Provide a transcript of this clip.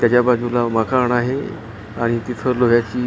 त्याच्या बाजूला मकान आहे आणि तिथं लोह्याची--